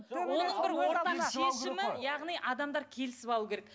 адамдар келісіп алуы керек